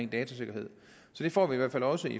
datasikkerhed så det får vi i hvert fald også i